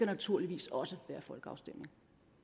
naturligvis også være folkeafstemning